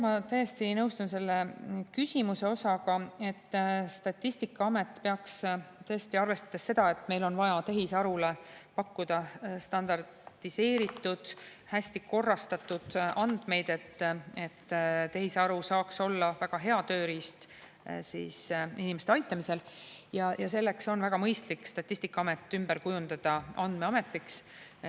Ma täiesti nõustun selle küsimuse osaga, et arvestades seda, et meil on vaja tehisarule pakkuda standardiseeritud, hästikorrastatud andmeid, et tehisaru saaks olla väga hea tööriist inimeste aitamisel, oleks väga mõistlik Statistikaamet ümber kujundada andmeametiks.